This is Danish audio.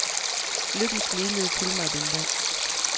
Lykken smilede til mig den dag.